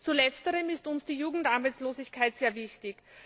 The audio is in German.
Zu letzterem ist uns die Jugendarbeitslosigkeit sehr wichtig.